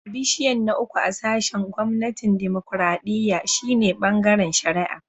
Bishiyan na uku a sashin gwamnatin dimokuradiyya shine "Bangaren shari'a."